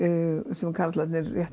sem karlarnir